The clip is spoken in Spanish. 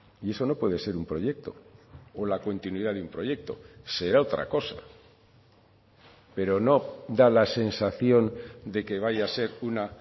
y eso no puede ser un proyecto o la continuidad de un proyecto será otra cosa pero no da la sensación de que vaya a ser una